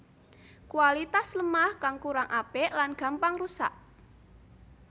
Kualitas lemah kang kurang apik lan gampang rusak